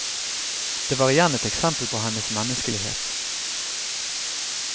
Det var igjen et eksempel på hennes menneskelighet.